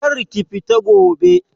Kar ki fita gobe!